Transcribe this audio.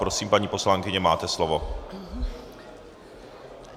Prosím, paní poslankyně, máte slovo.